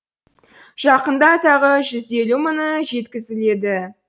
жақында тағы жүз елу мыңы жеткізіледі